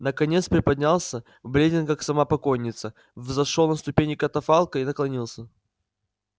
наконец приподнялся бледен как сама покойница взошёл на ступени катафалка и наклонился